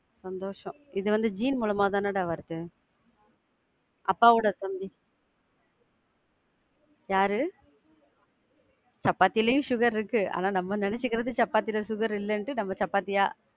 சந்தோசம். இது வந்து gene மூலமா தானடா வருது. அப்பாவோட தம்பி யாரு? சப்பாத்திலையும் sugar இருக்கு, ஆனா நம்ம நெனச்சிகிறது சப்பாத்தில sugar இல்லன்ட்டு நம்ம சப்பாத்தியா~